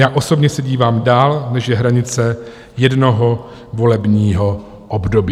Já osobně se dívám dál, než je hranice jednoho volebního období.